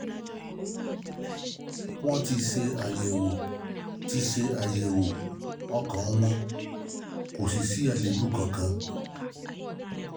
Wọ́n ti ṣe àyẹ̀wò ti ṣe àyẹ̀wò ọkàn um wọn, kò sì sí àléébù kankan